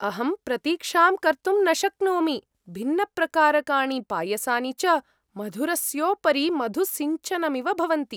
अहं प्रतीक्षां कर्तुं न शक्नोमि, भिन्नप्रकारकाणि पायसानि च मधुरस्योपरि मधुसिञ्चनमिव भवन्ति।